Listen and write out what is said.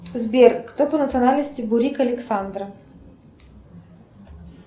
сбер кто по национальности бурик александра